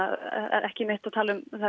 ekki mitt að tala um